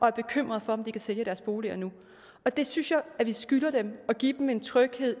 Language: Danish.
er bekymret for om de kan sælge deres boliger nu det synes jeg vi skylder dem at give dem en tryghed